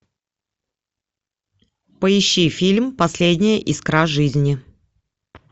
поищи фильм последняя искра жизни